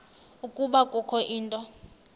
ukuba kukho into